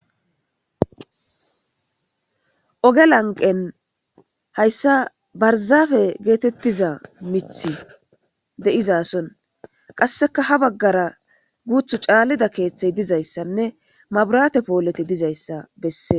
Oge laqen haysa barzappe getetiza mithati de'izason qasekka ha bagara guthu calida kethay dizaysanne maburate poleti dizaysa besese